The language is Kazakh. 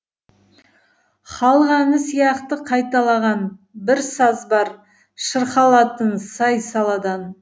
халық әні сияқты қайталаған бір саз бар шырқалатын сай саладан